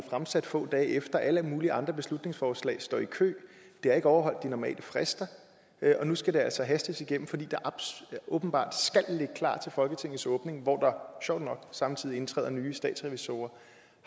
fremsat få dage efter der er alle mulige andre beslutningsforslag der står i kø det har ikke overholdt de normale frister og nu skal det altså hastes igennem fordi det åbenbart skal ligge klar til folketingets åbning hvor der sjovt nok samtidig indtræder nye statsrevisorer